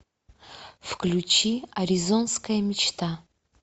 включи аризонская мечта